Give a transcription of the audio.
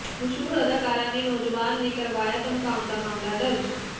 ਮਸ਼ਹੂਰ ਅਦਾਕਾਰਾ ਨੇ ਨੌਜਵਾਨ ਤੇ ਕਰਵਾਇਆ ਧਮਕਾਉਣ ਦਾ ਮਾਮਲਾ ਦਰਜ